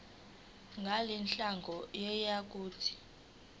ngalenhlangano yiya kut